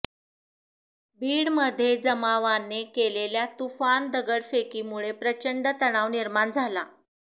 बीडमध्ये जमावाने केलेल्या तुफान दगडफेकीमुळे प्रचंड तणाव निर्माण झाला